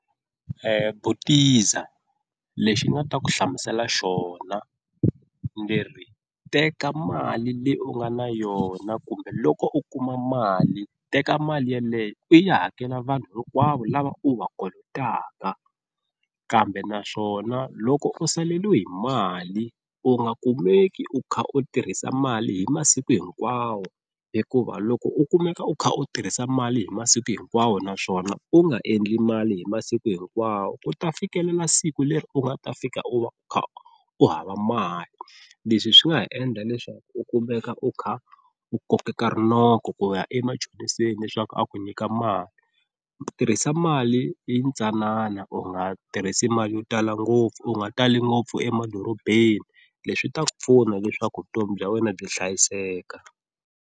Butiza lexi ni nga ta ku hlamusela xona ndzi ri teka mali leyi u nga na yona kumbe loko u kuma mali teka mali yeleyo u ya hakela vanhu hinkwavo lava u va kolotaka kambe naswona loko u saleliwe hi mali, u nga kumeki u kha u tirhisa mali hi masiku hinkwawo hikuva loko u kumeka u kha u tirhisa mali hi masiku hinkwawo naswona u nga endli mali hi masiku hinkwawo ku ta fikelela siku leri u nga ta fika u va u kha u hava mali, leswi swi nga ha endla leswaku u kumeka u kha u kokeka rinoko ku ya emachoniseni leswaku a ku nyika mali, tirhisa mali yintsanana u nga tirhisi mali yo tala ngopfu u nga tali ngopfu emadorobeni leswi ta ku pfuna leswaku vutomi bya wena byi hlayiseka.